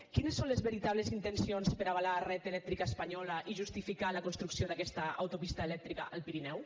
quines són les veritables intencions per avalar red eléctrica española i justificar la construcció d’aquesta autopista elèctrica al pirineu